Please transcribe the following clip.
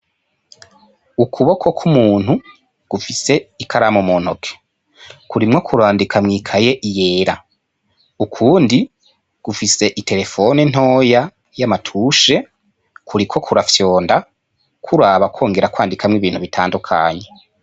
Ukuboko kw'umuntu gufise ikaramu mu ntoki, kurimwo kurandika mw'ikaye yera, ukundi gufise terefone ntoyi y'amatushe kuriko kurafyonda kuraba kwongera kwandika n'ibintu bitandukanye.